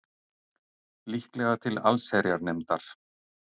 Líklega til allsherjarnefndar